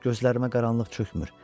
Gözlərimə qaranlıq çökmür.